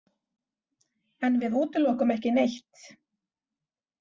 En við útilokum ekki neitt.